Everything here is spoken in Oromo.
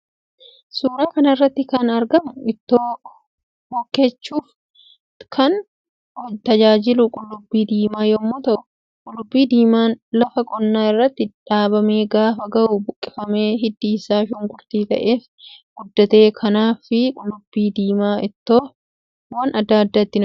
Suuraa kanarratti kan argamu ittoo hokkechuuf kan tajaajilu qullubbi diima yommu ta'uu qullubbii diiman lafa qonnaa irratti dhaabame gaafa gahu buqqifame hiddi isa shunkurtii ta'eef guddata kanaafi qullubbi diimaa ittoowwan adda addaa hojjechuuf tajaajila